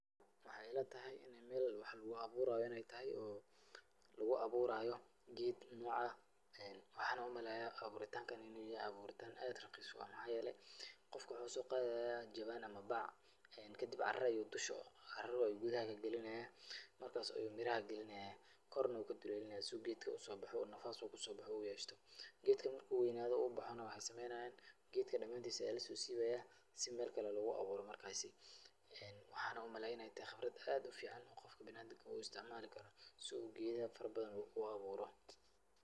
Waxay ila tahay inay meel wax lugu abuuraayo inay tahay oo lugu abuuraayo geed noocan. Waxaan u maleeyaa abuuritaankan in uu yahay abuuritaan aad raqiis u ah. Maxaa yeelay qofka waxuu soo qaadayaa jawaan ama bac, kadib caro ayuu dusha, caro ayuu gudaha ka galinaya, markaas ayuu miraha galinaya, korna wuu ka duleelinayaa si uu geedka u soo baxo oo nafas uu ku soo baxo u yeeshto. Geedkan marka uu weynaado uu baxana waxay sameynayan gedka dhamaantiisa ayaa la soo siibaya si meel kale loogu abuuro markaasi. Waxan u malayna in ay tahay khibrad aad u ficaan qofka bina'aadinka uu istacmaali karo si uu geedaha farabadan u abuuro.